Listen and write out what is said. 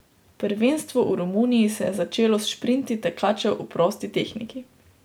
Prvenstvo v Romuniji se je začelo s šprinti tekačev v prosti tehniki.